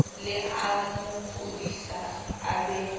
le amo kodisa a be